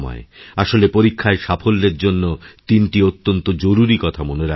আসলে পরীক্ষায় সাফল্যের জন্য তিনটি অত্যন্ত জরুরী কথা মনে রাখতে হবে